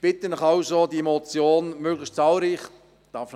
Ich bitte Sie also, diese Motion möglichst zahlreich zu unterstützen.